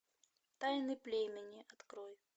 тайны племени открой